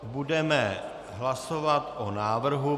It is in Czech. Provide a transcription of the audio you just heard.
Budeme hlasovat o návrhu.